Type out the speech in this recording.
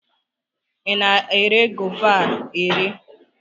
ị na-ere Gova a ere?